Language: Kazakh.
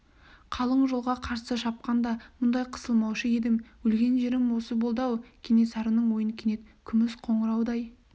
қалың қолға қарсы шапқанда мұндай қысылмаушы едім өлген жерім осы болды-ау кенесарының ойын кенет күміс қоңыраудай